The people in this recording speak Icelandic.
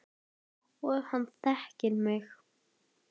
Og hann þekkir mig.